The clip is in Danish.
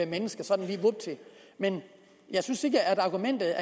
mennesker sådan lige vupti men jeg synes ikke at argumentet